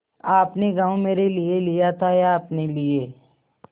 आपने गॉँव मेरे लिये लिया था या अपने लिए